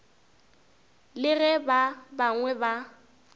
le ge ba bangwe ba